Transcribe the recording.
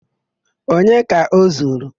Onye ka o zuru?